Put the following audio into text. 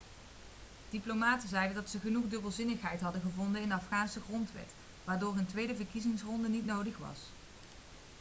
diplomaten zeiden dat ze genoeg dubbelzinnigheid hadden gevonden in de afghaanse grondwet waardoor een tweede verkiezingsronde niet nodig was